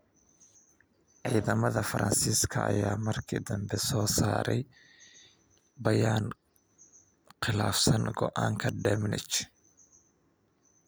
Ciidamada Faransiiska ayaa markii dambe soo saaray bayaan " khilaafsan go'aanka Domenech".